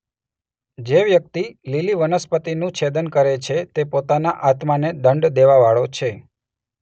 જે વ્યક્તિ લીલી વનસ્પતિનું છેદન કરે છે તે પોતાના આત્માને દંડ દેવાવાળો છે.